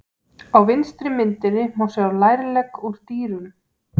Á vinstri myndinni má sjá lærlegg úr dýrum.